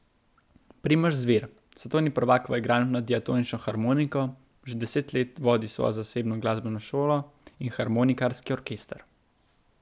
Primož Zvir, svetovni prvak v igranju na diatonično harmoniko, že deset let vodi svojo zasebno glasbeno šolo in harmonikarski orkester.